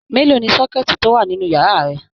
Mélòó ní sọkẹ̀tí to wà nínú yàrá rẹ?